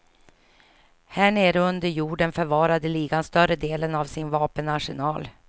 Här nere under jorden förvarade ligan större delen av sin vapenarsenal.